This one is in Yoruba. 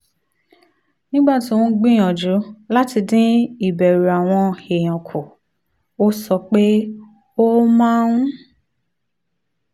nígbà tó ń gbìyànjú láti dín ìbẹ̀rù àwọn èèyàn kù ó sọ pé ó máa ń